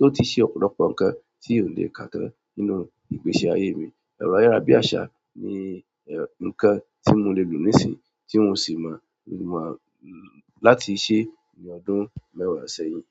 ó ti ṣe ọ̀pọ̀lọpọ̀ nǹkan tí ò lè káàtán nínú ìgbésí ayé mi. Ẹ̀rọ ayára bí àsá ni nǹkan tí mo lè lò nísìn tí mo sì mo láti ṣẹ ní ọdún mẹ́wàá sẹ́yìn.